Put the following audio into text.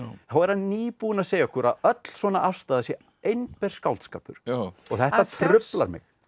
þá er hann nýbúinn að segja okkur að öll svona afstaða sé einber skáldskapur og þetta truflar mig